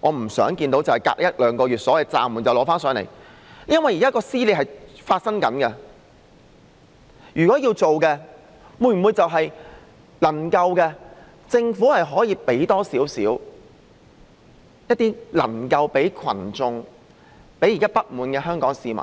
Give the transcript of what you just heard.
我不想看到所謂暫緩一兩個月後，又再提交上來，因為現時的撕裂正在發生，政府是否能夠給群眾及現時不滿的香港市民